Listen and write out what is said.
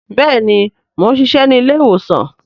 Bẹẹni, Mo n ṣiṣẹ ni ilé-ìwòsàn